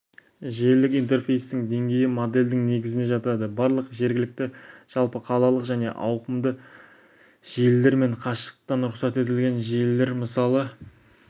желілік интерфейстің денгейі модельдің негізіне жатады барлық жергілікті жалпы қалалық және ауқымды желілер мен қашықтықтан рұқсат етілген желілер мысалы